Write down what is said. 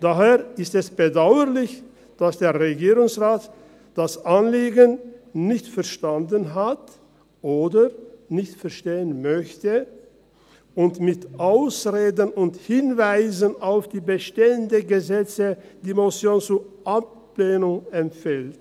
Daher ist es bedauerlich, dass der Regierungsrat das Anliegen nicht verstanden hat oder nicht verstehen möchte und mit Ausreden und Hinweisen auf die bestehenden Gesetze die Motion zur Ablehnung empfiehlt.